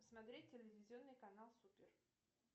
смотреть телевизионный канал супер